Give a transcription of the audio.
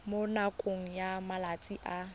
mo nakong ya malatsi a